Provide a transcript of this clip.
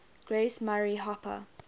grace murray hopper